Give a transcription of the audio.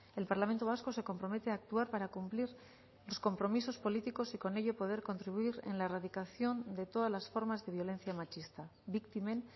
el parlamento vasco se compromete a actuar para cumplir los compromisos políticos y con ello poder contribuir en la erradicación de todas las formas de violencia machista biktimen